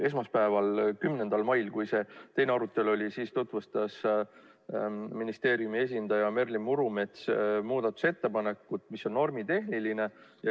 Esmaspäeval, 10. mail, kui oli teine arutelu, siis tutvustas ministeeriumi esindaja Merlin Murumets muudatusettepanekut, mis on normitehniline.